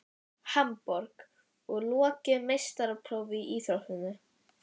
Hamborg og lokið meistaraprófi í íþróttinni.